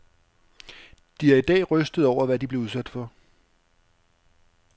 De er i dag rystede over, hvad de blev udsat for.